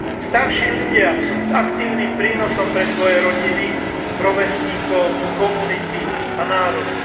Starší ľudia sú aktívnym prínosom pre svoje rodiny, rovesníkov, komunity a národy.